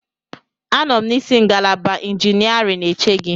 Anọ m n'isi ngalaba injiniarin eche gị.